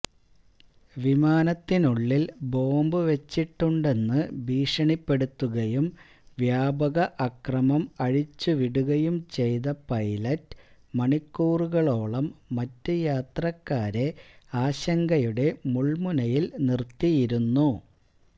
വിമാനത്തിനുള്ളില് bomb വെച്ചിട്ടുണ്ടെന്ന് ഭീഷണിപ്പെടുത്തുകയും വ്യാപക അക്രമം അഴിച്ചുവിടുകയും ചെയ്ത പൈലറ്റ് മണിക്കൂറുകളോളം മറ്റ് യാത്രക്കാരെ ആശങ്കയുടെ മുള്മുനയില് നിര്ത്തിയിരുന്നു